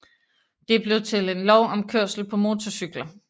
Det blev til en lov om kørsel på motorcykler